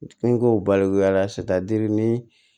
Ni n ko balikuya sitan dir'i ni